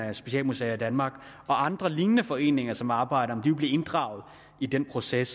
af specialmuseer i danmark og andre lignende foreninger som arbejder vil de blive inddraget i den proces